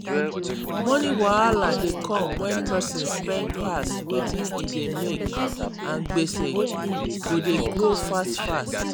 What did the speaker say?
money wahala dey come when person spend pass wetin e dey make and gbese go dey grow fast fast.